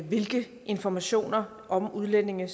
hvilke informationer om udlændinge